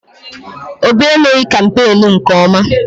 Obi emeghị kampeenu nke ọma.